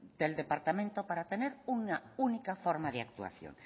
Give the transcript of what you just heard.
del departamento para tener una única forma de actuación